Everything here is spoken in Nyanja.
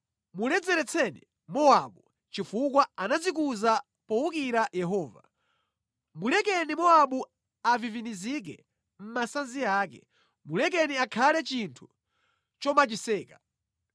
“Muledzeretseni Mowabu, chifukwa anadzikuza powukira Yehova. Mulekeni Mowabu avivinizike mʼmasanzi ake; mulekeni akhale chinthu chomachiseka.